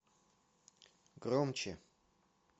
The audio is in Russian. громче